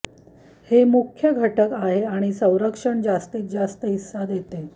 हे मुख्य घटक आहे आणि संरक्षण जास्तीत जास्त हिस्सा देते